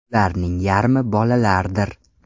Ularning yarmi bolalardir.